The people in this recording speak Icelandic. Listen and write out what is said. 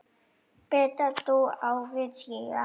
Berta dó ári síðar.